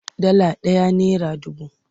Dala ɗaya nera dubu.